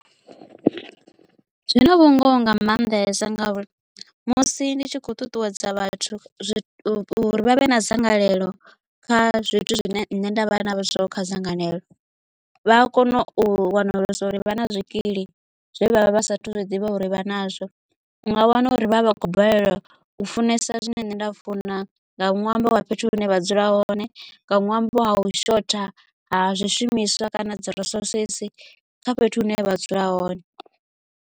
Zwina vhungoho nga maanḓesa ngauri musi ndi tshi kho ṱuṱuwedza vhathu uri vha vhe na dzangalelo kha zwithu zwine nṋe nda vha nazwo kha dzangalelo vha a kona u wanalesa uri vha na zwikili zwe vha vha vha sathu zwi ḓivha uri vha nazwo u nga wana uri vhavha vha khou balelwa u funesa zwine nṋe nda funa nga ṅwambo wa fhethu hune vha dzula hone nga ṅwambo wa u shotha ha zwishumiswa kana dzi resources kha fhethu hune vha dzula.